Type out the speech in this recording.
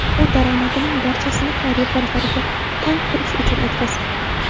U daromadining barchasini xayriya fondlariga tank qurish uchun o‘tkazdi.